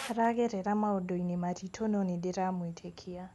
Aragerera maũndũ-inĩ maritũ no nĩndĩramwĩtĩkia.